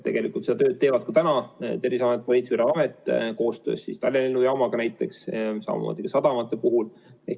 Tegelikult seda tööd teevad ka täna Terviseamet, Politsei- ja Piirivalveamet koostöös Tallinna lennujaamaga näiteks, samamoodi sadamates.